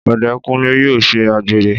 Ọdẹkunlé yóò ṣe àgbèrè